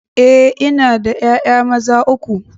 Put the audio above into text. Eh ina da 'ya'ya maza uku.